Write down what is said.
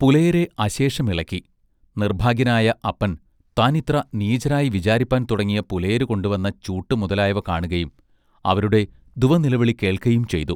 പുലയരെ അശേഷം ഇളക്കി. നിർഭാഗ്യനായ അപ്പൻ താൻ ഇത്ര നീചരായി വിചാരിപ്പാൻ തുടങ്ങിയ പുലയരു കൊണ്ടു വന്ന ചൂട്ടു മുതലായവ കാണുകയും അവരുടെ ദുവനിലവിളി കേൾക്കയുംചെയ്തു.